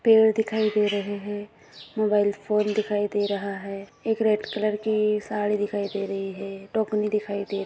पेड़ दिखाई दे रहे है। मोबाईल फोन दिखाई दे रहा है। एक रेड कलर की साड़ी दिखाई दे रही है। टोकनी दिखाई दे --